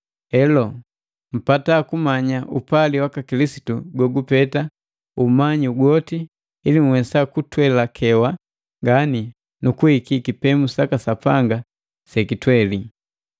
Heloo, mpata kumanya upali waka Kilisitu gogupeta umanyi gwoti, ili nhwesa kutwelakewa ngani nu kuhiki kipemu saka Sapanga sekitweli.